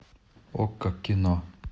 окко кино